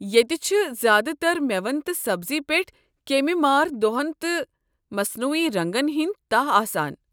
ییٚتہ چھِ زیٛادٕ تر مٮ۪وَن تہٕ سبزی پیٹھ کیٚمۍ مار دَوہن تہٕ مصنٔوی رنٛگن ہٕنٛدۍ تَہہ آسان۔